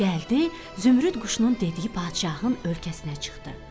gəldi Zümrüd quşunun dediyi padişahın ölkəsinə çıxdı.